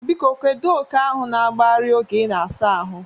Biko kedu oke ahụ na-agbagharị oge ị na-asa ahụ?